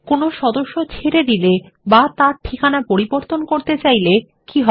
কোনো সদস্য ছেড়ে দিলে অথবা তাঁর ঠিকানা পরিবর্তন করতে চাইলে তাহলে কি হবে